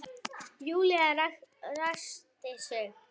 Júlía ræskir sig.